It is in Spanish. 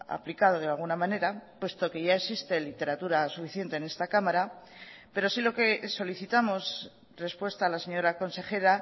ha aplicado de alguna manera puesto que ya existe literatura suficiente en esta cámara pero sí lo que solicitamos respuesta a la señora consejera